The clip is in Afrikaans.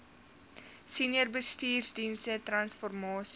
senior bestuursdienste transformasie